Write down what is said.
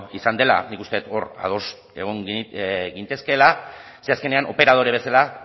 izan dela nik uste dut hor ados egon gintezkeela ze azkenean operadore bezala